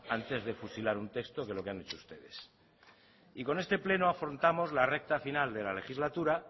antes de fusilar un texto que lo que han hecho ustedes y con este pleno afrontamos la recta final de la legislatura